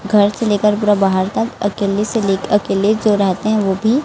घर से लेकर पूरा बाहर तक अकेले से लेकर अकेले जो रहते है वो भी --